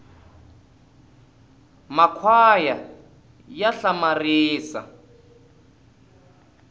makhwaya ya hlamaria